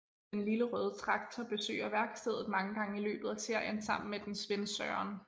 Den Lille røde traktor besøger værkstedet mange gange i løbet af serien sammen med dens ven Søren